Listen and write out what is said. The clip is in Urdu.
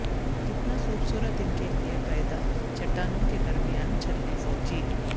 کتنا خوبصورت ان کے لئے پیدا چٹانوں کے درمیان چلنے فوجی